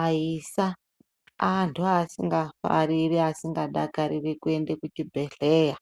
Aisa antu asingafariri asingadakariri kuenda kuchibhedhlera